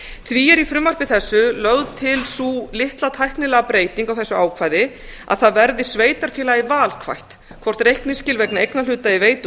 því er í frumvarpi þessu lögð til sú litla tæknilega breyting á þessu ákvæði að það verði sveitarfélagi valkvætt hvort reikningsskil vegna eignarhluta í veitu og